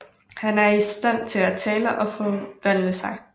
Han er i stand til at tale og forvandle sig